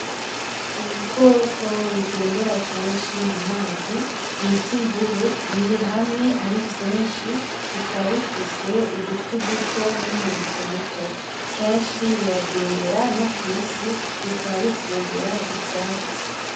Ibikoko bigendera kenshi mumazi bita imvubu birihamwe ari vyinshi bakaba bifise udutwi duto numurizo muto kenshi biragendera no kwisi bikaba bifungura ivyatsi